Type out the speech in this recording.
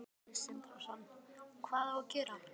Sindri Sindrason: Hvað á að gera?